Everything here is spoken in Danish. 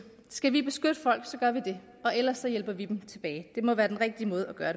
skal vi beskytte folk så gør vi det og ellers hjælper vi dem tilbage det må være den rigtige måde at gøre